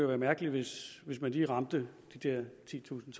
være mærkeligt hvis man lige ramte de der titusind